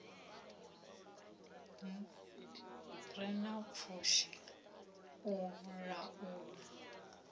re na pfushi u laula